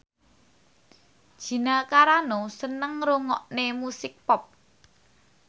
Gina Carano seneng ngrungokne musik pop